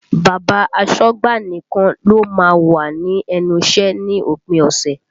Bàbá asọ́gbà nìkan ló má ń wà ní ẹnu iṣẹ́ ní òpin ọ̀sẹ̀